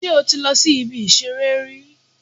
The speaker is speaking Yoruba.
Sé o ti lọ si ibi ìṣeré rí